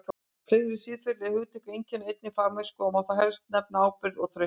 Fleiri siðferðileg hugtök einkenna einnig fagmennsku og má þar helst nefna ábyrgð og traust.